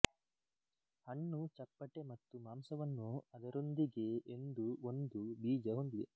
ಹಣ್ಣು ಚಪ್ಪಟೆ ಮತ್ತು ಮಾಂಸವನ್ನು ಅದರೊಂದಿಗೇ ಎಂದು ಒಂದು ಬೀಜ ಹೊಂದಿದೆ